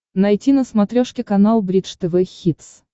найти на смотрешке канал бридж тв хитс